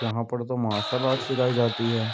यहां पर तो माशाल्लाह चिकाई जाती है।